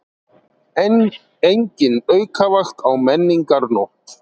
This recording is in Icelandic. Engin aukavakt á Menningarnótt